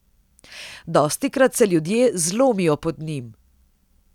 Dostikrat se ljudje zlomijo pod njim.